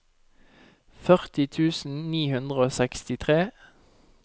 førti tusen ni hundre og sekstitre